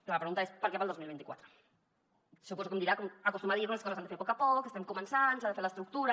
clar la pregunta és per què per al dos mil vint quatre suposo que em dirà com acostuma a dir que les coses s’han de fer a poc a poc que estem començant que s’ha de fer l’estructura